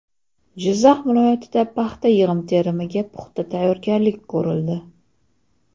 Jizzax viloyatida paxta yig‘im-terimiga puxta tayyorgarlik ko‘rildi.